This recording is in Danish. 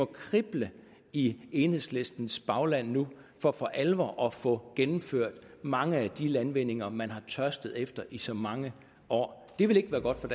krible i enhedslistens bagland for for alvor at få gennemført mange af de landvindinger man har tørstet efter i så mange år det vil ikke være godt for